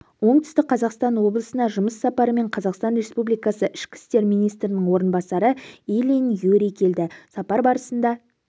оңтүстік қазақстан облысына жұмыс сапарымен қазақстан республикасы ішкі істер министрінің орынбасары ильин юрий келді сапар барысында